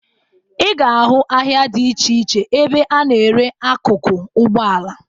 Ị ga-ahụ ahịa dị iche iche ebe a na-ere akụkụ ụgbọala